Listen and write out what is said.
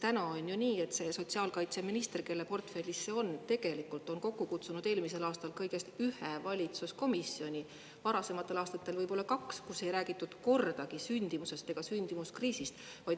Praegu on ju nii, et sotsiaalkaitseminister, kelle portfellis see on, on eelmisel aastal kokku kutsunud kõigest ühe valitsuskomisjoni, varasematel aastatel võib-olla kaks, kus ei ole kordagi räägitud sündimusest ega sündimuskriisist.